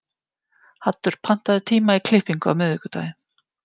Haddur, pantaðu tíma í klippingu á miðvikudaginn.